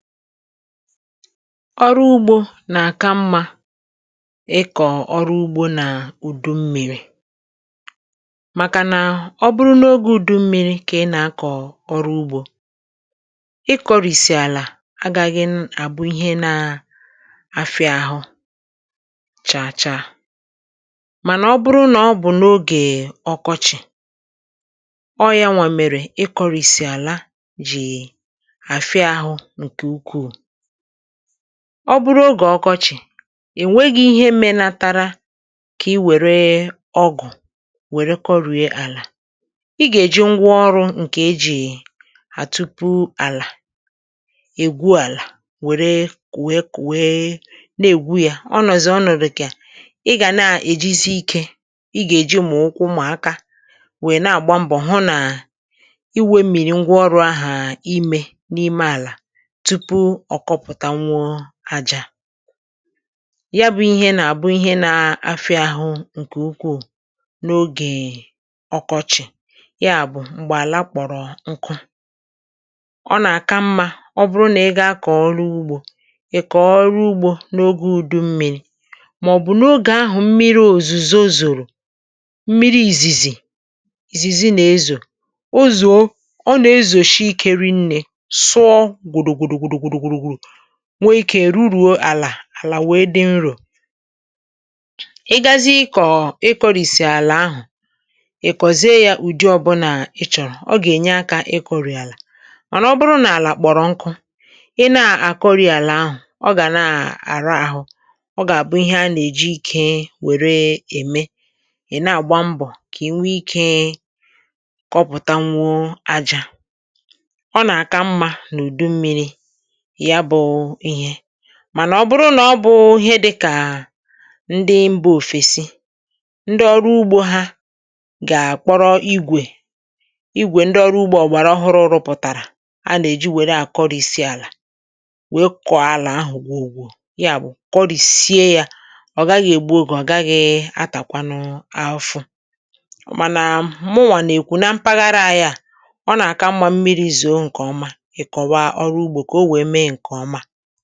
Ọrụ̀ ugbò n’aka mma. Ịkọ̀ ọrụ ugbò nà-ùdù mmiri, màkà nà ọ̀ bụrụ̀ n’oge ùdù mmiri kà ị nà-akọ̀ ọrụ ugbò, ịkọ̀rị́sì àlà agà-aghị àbụ ihe nà-afịa ahụ̀ chàchà. Mànà ọ̀ bụrụ̀ nà ọ̀ bụ̀ n’oge ọkọchị̀, ọ̀ ya nwa mèrè. Ịkọ̀rị́sì àlà jì ọ̀ bụrụ̀ oge ọkọchị̀, ènweghị ihe melatara, kà ị wèrè ọgụ̀ wèrè kọrị̀e àlà.Ị̀ gà-èji ngwá ọrụ̇ nke e ji hà tupu àlà ègwú, àlà wèrè kùwe-kùwe, na-ègwú ya, ọ nọ̀zì, ọ̀ nọ̀rụ̀kị̀. À, ị gà na-èjisi ike, ị gà-èji mọ̀wụkwụ mà-àka, wéé na-àgba mbọ̀ hụ̀ nà ị wéé mìrì ngwá ọrụ̇ ahà, ímé n’ime àlà, ọ̀ kọpụ̀tà nwụọ̀ àjà. ehm Ya bụ́ ihe nà-àbụ ihe nà-afịa ahụ̀ nke ukwù n’oge ọkọchị̀, ya bụ́ mgbè àlà kpọ̀rọ nkụ̀, ọ nà-àka mma.Ọ̀ bụrụ̀ nà ị gà-akà ọrụ ugbò, ị kà ọrụ ugbò n’oge ùdù mmiri̇, mà ọ̀ bụ̀ n’oge ahụ̀, mmiri òzùzó zòrò, mmiri ìzìzì-ìzìzì nà ezò. O zùo, ọ̀ nà-ezòshi ikèri, nne sụọ, nwee ike rụrùọ àlà. Àlà wèe dị nrò, ị gàzì ịkọ̀, ị kọrị̀sì àlà ahụ̀. Ị̀ kọ̀ze ya ùdi ọbụla ị̀ chọ̀rọ̀, ọ̀ gà-ènye aka. Ịkọ̀rụ̀ àlà ọ̀ nà, ọ̀ bụ̀rù n’álà kpọ̀rọ nkụ̀, ị nà-àkọrị̀ àlà ahụ̀, ọ̀ gà na-àrà ahụ̀, ọ̀ gà-àbụ ihe a nà-èjì ike wèrè èmé. Ì na-àgba mbọ̀ kà è nwee ike kọpụ̀tà nwọ̀ àjà. hmm Ọ nà-àka mma n’ùdù mmiri̇, mànà ọ̀ bụrụ̀ nà ọ̀ bụ̀ ihe dịkà ndị mba òfèsì, ndị ọrụ ugbò ha gà-àkpọrọ igwè-igwè, ndị ọrụ ugbò ògbàrà ọhụụ̀, rụpụ̀tàrà a nà-èjì wèrè àkọ̀rị́sì àlà, wéé kọ̀ọ̀ àlà ahụ̀ gwùwò. Ya bụ̀, kọ̀rị́sì ya, ọ̀ gà-agaghị ègbu oge, ọ̀ gà-agaghị atàkwanụ afọ. Mànà mụ́nwà nà-èkwu, nà mpaghara ya, ọ̀ nà-àka mmiri̇ ízùo nke ọma, enyi.